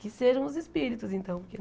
Que sejam os espíritos, então.